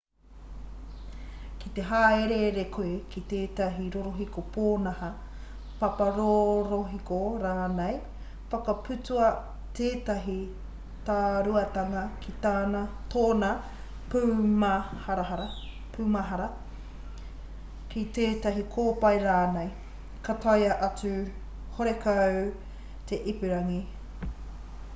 ki te hāereere koe ki tētahi rorohiko pōnaha paparorohiko rānei whakaputua tētahi tāruatanga ki tōna pūmahara ki tētahi kōpae rānei ka taea atu horekau te ipurangi